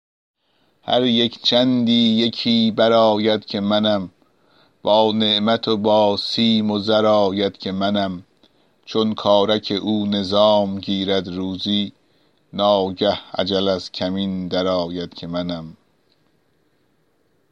هر یک چندی یکی برآید که منم با نعمت و با سیم و زر آید که منم چون کارک او نظام گیرد روزی ناگه اجل از کمین برآید که منم